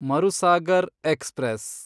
Marusagar express